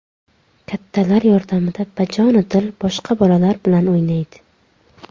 Kattalar yordamida bajonidil boshqa bolalar bilan o‘ynaydi.